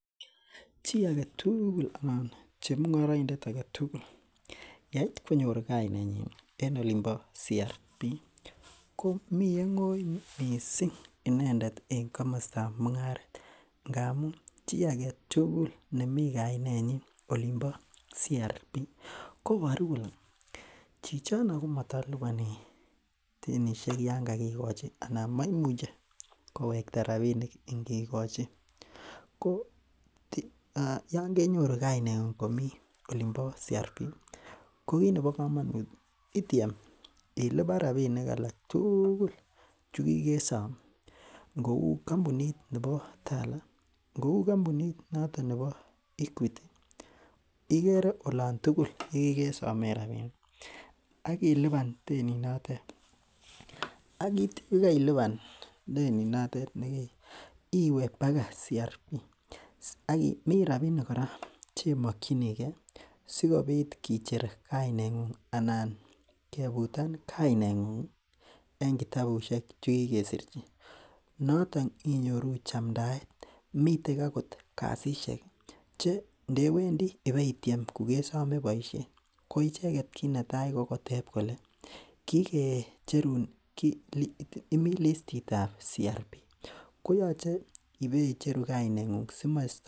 Chii aketugul anan chemung'oroindet aketugul yeit konyor kainet nyin en olin bo Credit Reference Bureau komii ye ng'oi missing inendet en komostab mung'aret ngamun chii aketugul nemii kainet nyin olin bo Credit Reference Bureau koboru kole chichono komotoliponi denisiek yan kokikochi ana moimuche kowekta rapinik ngikochi ko yan kenyoru kainet ng'ung komii olin bo Credit Reference Bureau ko kit nebo komonut ityem ilipan rapinik alak tugul chukikesom ngou kampunit nebo Tala ngou kampunit noton nebo Equity ikere olon tugul yekikesomen rapinik ak ilipan denit notet ak yekeitya ilipan denit notet nekeib iwe baka Credit Reference Bureau mii rapinik kora chekimokyingee sikobit kicher kainet ng'ung anan kebutan kainet ng'ung en kitabusiek chekikesirchin noton inyoru chamdaet miten akot kasisiek che ndewendii ibeityem kokesome boisiet ko icheket kit netai ko kotep kole kikecherun, imii listit ab Credit Reference Bureau koyoche ibeicheru kainet ng'ung simo